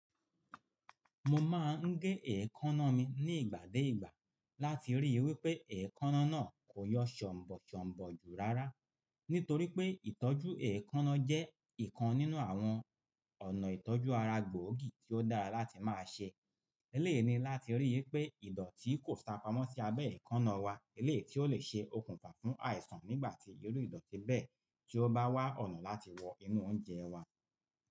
Mo máa ń gé èékánná mi ní ìgbà dé ìgbà láti rí i wí pé èékánná náà kò yọ ṣonbọ̀ ṣonbọ̀ ju rárá. Nítorí pé ìtọ́jú èékánná jẹ́ ìkan nínú àwọn ọ̀nà ìtọ́jú ara gbòógì tí ó dára láti máa ṣe. Elẹ́eyi ni láti rí i wí pé ìdọ̀tí kò sápamọ́ sí abẹ́ èékánná wa, elèeyi tí ó le ṣe okùnfà fún àìsàn, nígbà tí irú ìdọ̀tí bẹ́ẹ̀ tí ó bá wà ọ̀nà láti wọ inú oúnjẹ wa.